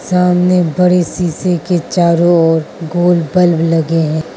सामने बड़े शीशे के चारों ओर गोल बल्ब लगे है।